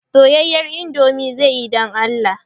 Soyayyen indomie zai yi don Allah